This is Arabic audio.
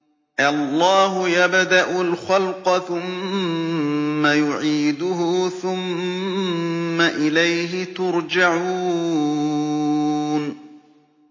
اللَّهُ يَبْدَأُ الْخَلْقَ ثُمَّ يُعِيدُهُ ثُمَّ إِلَيْهِ تُرْجَعُونَ